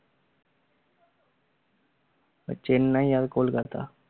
চেন্নাই আর কলকাতা